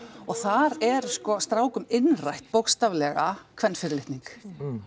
þar er sko strákum innrætt bókstaflega kvenfyrirlitning